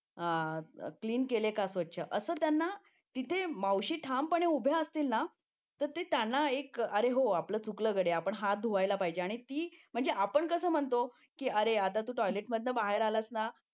clean केले का स्वच्छ असं त्यांना तिथे मावशी ठामपणे उभा असतील ना तर ते त्यांना एक अरे हो आपलं चुकलं गड्या आपण हात धुवायला पाहिजे होते आणि तिचे आपण कसं म्हणतो की अरे यार तू टॉयलेट मधून बाहेर आलास ना